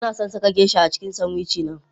Ina son saka Geisha a cikin sanwici na.